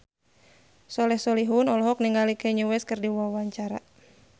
Soleh Solihun olohok ningali Kanye West keur diwawancara